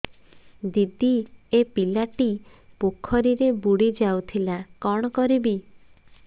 ଦିଦି ଏ ପିଲାଟି ପୋଖରୀରେ ବୁଡ଼ି ଯାଉଥିଲା କଣ କରିବି